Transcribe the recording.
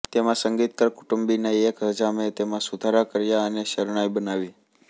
તેમાં સંગીતકાર કુટુંબીના એક હજામે તેમાં સુધારા કર્યાં અને શરણાઈ બનાવી